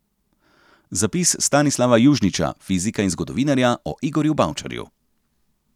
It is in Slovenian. Zapis Stanislava Južniča, fizika in zgodovinarja, o Igorju Bavčarju.